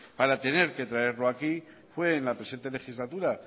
para tener que traerlo aquí fue en la presente legislatura